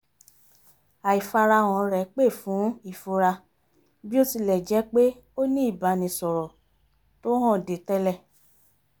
àìfarahàn rẹ̀ pè fún ìfura bí ó ti lẹ̀ jjẹ́ pé ó ní ìbánisọ̀rọ̀ tó hànde tẹ́lẹ̀